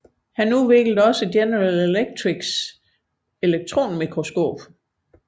Han udviklede også General Electrics elektronmikroskop